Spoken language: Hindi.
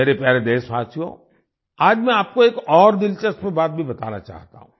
मेरे प्यारे देशवासियो आज मैं आपको एक और दिलचस्प बात भी बताना चाहता हूँ